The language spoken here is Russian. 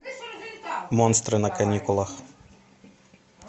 монстры на каникулах